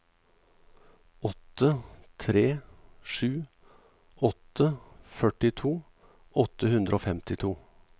åtte tre sju åtte førtito åtte hundre og femtito